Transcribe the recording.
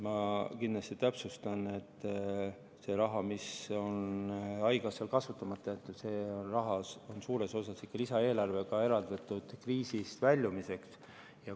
Ma täpsustan, et see raha, mis on haigekassal kasutamata jäetud, on suures osas ikka lisaeelarvega kriisist väljumiseks eraldatud.